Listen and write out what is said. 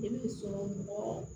Denmisɛn mɔgɔ